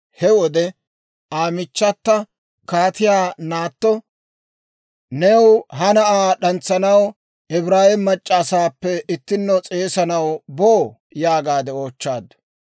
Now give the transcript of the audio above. He wode Aa michchata kaatiyaa naatto, «New ha na'aa d'antsanaw Ibraawe mac'c'a asaappe ittinno s'eesanaw boo?» yaagaade oochchaaddu.